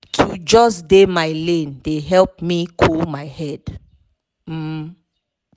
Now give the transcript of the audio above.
to just dey my lane dey help me cool my head. um